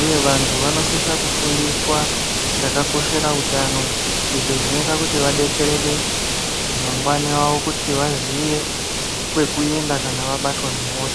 uye vantu vanosise kufundiswa chakakoshera hutano, izvo zvinoite vadetsereke mangwanawo kuti vazive kwekuenda kana vabatwa nehosha.